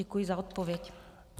Děkuji za odpověď.